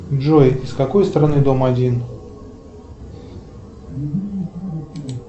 джой с какой стороны дом один